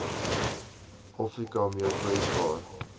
afrika meer kwesbaar